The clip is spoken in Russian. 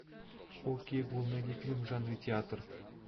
окей гугл найди фильм в жанре театр